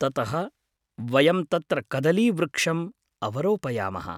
ततः, वयं तत्र कदलीवृक्षम् अवरोपयामः।